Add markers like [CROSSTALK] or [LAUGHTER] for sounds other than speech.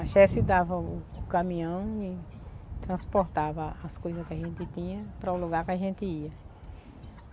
A [UNINTELLIGIBLE] dava o o caminhão e transportava a as coisas que a gente tinha para o lugar que a gente ia.